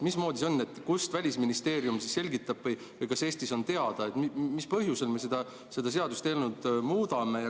Mismoodi see on, kuidas Välisministeerium seda selgitab ja mis põhjusel me seda seadust siis muudame?